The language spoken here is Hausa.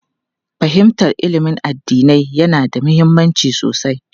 Fahimtar ilimin addinai yana da mahimmanci sosai.